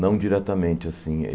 Não diretamente assim.